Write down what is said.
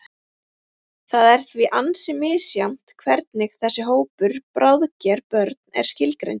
Það er því ansi misjafnt hvernig þessi hópur, bráðger börn, er skilgreindur.